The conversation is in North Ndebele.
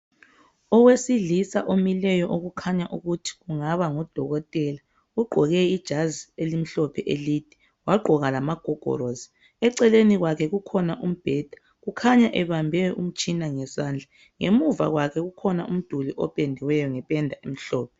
Owesilisa omileyo okukhanya ukuthi kungaba ngudokotela ugqoke ijazi elimhlophe elide wagqoka lamagogorosi eceleni kwakhe kukhona umbheda kukhanya ebambe umtshina ngezandla ngemuva kwakhe ukhona umduli opendiweyo ngependa emhlophe.